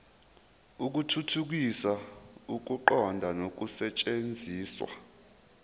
ukuthuthukisa ukuqonda nokusetshenziswa